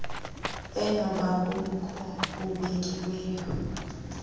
enobo bukhulu bubekiweyo